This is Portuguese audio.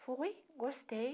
Fui, gostei,